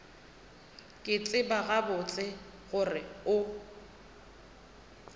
ke tseba gabotse gore o